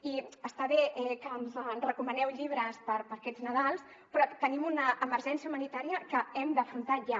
i està bé que ens recomaneu llibres per a aquest nadal però tenim una emergència humanitària que hem d’afrontar ja